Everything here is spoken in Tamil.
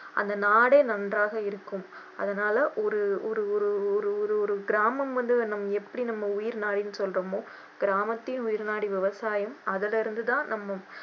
அந்த நாடே நன்றாக இருக்கும் அதனால ஒரு ஒரு ஒரு ஒரு ஒரு ஒரு ஒரு கிராமம் வந்து நம்ம உயிர் நாடின்னு சொல்றோமோ கிராமத்தின் உயிர் நாடி விவசாயம் அதுல இருந்து தான் நம்ம